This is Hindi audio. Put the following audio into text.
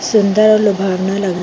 सुन्दर और लूभावना लग--